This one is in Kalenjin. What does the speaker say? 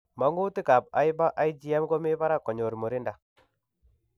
Mang'utik ab hyper igM komi barak konyor murinda